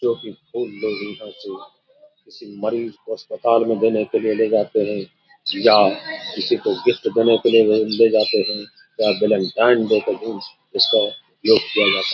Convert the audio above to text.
क्योंकि फूल लोग यहां से किसी मरीज को अस्पताल मे देने के लिए ले जाते हैं या किसी को गिफ्ट देने के लिए ले जाते हैं या वैलेंटाइन डे के दिन इसको गिफ्ट किया जाता है |